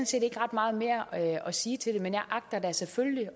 set ikke ret meget mere at sige til det men jeg agter da selvfølgelig